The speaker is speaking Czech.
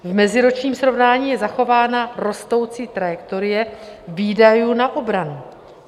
V meziročním srovnání je zachována rostoucí trajektorie výdajů na obranu.